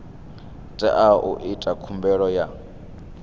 teaho u ita khumbelo ya